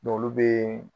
N'olu bɛ